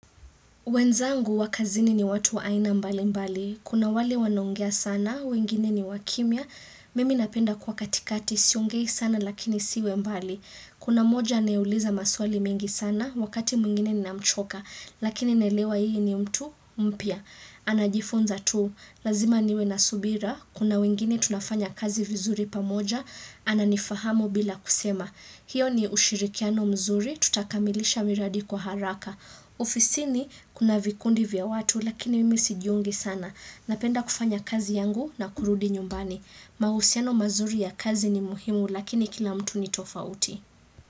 Wenzangu wa kazini ni watu wa aina mbali mbali. Kuna wale wanaongea sana, wengine ni wakimya. Mimi napenda kwa katikati siongei sana lakini siwe mbali. Kuna mmoja anayeuliza maswali mengi sana, wakati mwingine ninamchoka. Lakini naelewa yeye ni mtu mpya. Anajifunza tu. Lazima niwe na subira. Kuna wengine tunafanya kazi vizuri pamoja. Ananifahamu bila kusema. Hiyo ni ushirikiano mzuri, tutakamilisha miradi kwa haraka. Ofisini kuna vikundi vya watu lakini mimi sijiungi sana. Napenda kufanya kazi yangu na kurudi nyumbani. Mahusiano mazuri ya kazi ni muhimu lakini kila mtu ni tofauti.